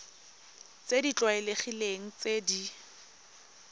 tse di tlwaelegileng tse di